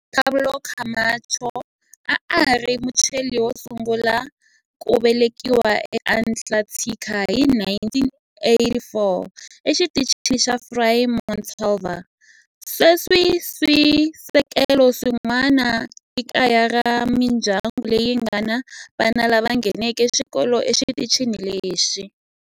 Juan Pablo Camacho a a ri Muchile wo sungula ku velekiwa eAntarctica hi 1984 eXitichini xa Frei Montalva. Sweswi swisekelo swin'wana i kaya ra mindyangu leyi nga ni vana lava nghenaka xikolo exitichini lexi.